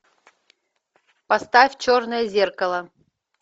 поставь черное зеркало